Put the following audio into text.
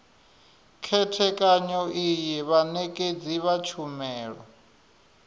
khethekanyo iyi vhanekedzi vha tshumelo